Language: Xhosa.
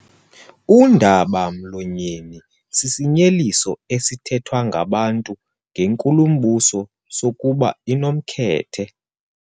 Undaba-mlonyeni sisinyeliso esithethwa ngabantu ngenkulumbuso sokuba inomkhethe.